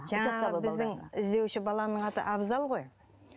жаңағы біздің іздеуші баланың аты абзал ғой